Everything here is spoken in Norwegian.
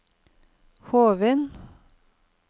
Hovin